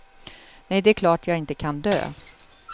Nej, det är klart jag inte kan dö.